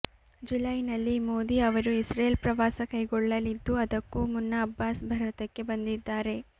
ಜುಲೈನಲ್ಲಿ ಮೋದಿ ಅವರು ಇಸ್ರೇಲ್ ಪ್ರವಾಸ ಕೈಗೊಳ್ಳಲಿದ್ದು ಅದಕ್ಕೂ ಮುನ್ನ ಅಬ್ಬಾಸ್ ಭಾರತಕ್ಕೆ ಬಂದಿದ್ದಾರೆ